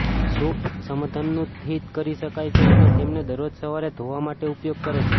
soup સમઘનનું થીજી કરી શકાય છે અને તેમને દરરોજ સવારે ધોવા માટે ઉપયોગ કરે છે